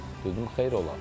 Dedim, xeyir olar?